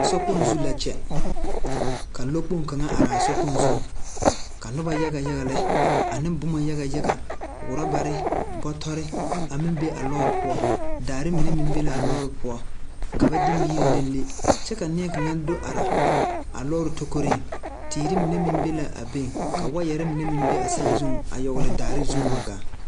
Sokpoŋ zu la ka lɔ kpoŋ kaŋa araa sobiri zuŋ ka nobɔ yaga yaga lɛ aneŋ bomma yaga yaga rɔbarre, bɔtɔrre a meŋ be a lɔɔre poɔ daare mine meŋ be laa lɔɔre poɔ ka ba de miire leŋ kyɛ ka nie kaŋa do are a lɔɔre tokoriŋ teere mine meŋ be la a be ka waayarre mine meŋ be a saazuŋ dɔgle daare zuŋ wa gaa.